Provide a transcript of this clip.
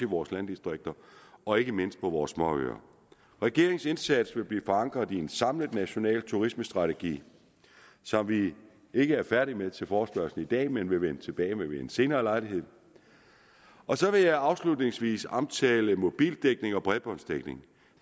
vores landdistrikter og ikke mindst på vores småøer regeringens indsats vil blive forankret i en samlet national turismestrategi som vi ikke er færdige med til forespørgslen i dag men vil vende tilbage med ved en senere lejlighed så vil jeg afslutningsvis omtale mobildækning og bredbåndsdækning